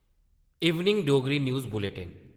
evening Dogri news bulletin